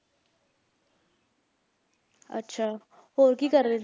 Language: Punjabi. ਅੱਛਾ ਹੋਰ ਕੀ ਕਰ ਰਹੇ